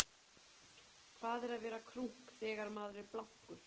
hvað er að vera krunk þegar maður er blankur